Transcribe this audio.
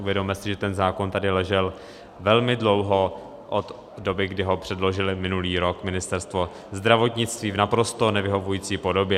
Uvědomme si, že ten zákon tady ležel velmi dlouho od doby, kdy ho předložilo minulý rok Ministerstvo zdravotnictví v naprosto nevyhovující podobě.